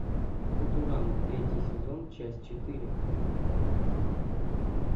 футурама третий сезон часть четыре